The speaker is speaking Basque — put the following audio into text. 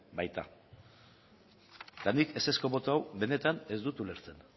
baita eta nik ezezko boto hau benetan ez dut ulertzen